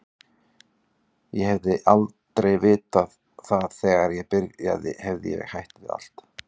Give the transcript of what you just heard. Ef ég hefði vitað það þegar ég byrjaði hefði ég hætt við allt.